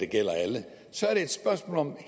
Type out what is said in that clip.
gælder alle så er det et spørgsmål om hvad